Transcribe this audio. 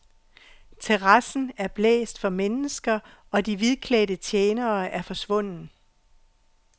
Terrassen er blæst for mennesker og de hvidklædte tjenere er forsvundet.